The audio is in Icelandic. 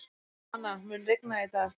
Lana, mun rigna í dag?